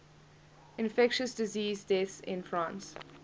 infectious disease deaths in france